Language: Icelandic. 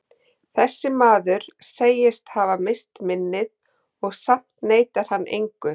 Þessi maður segist hafa misst minnið, og samt neitar hann engu.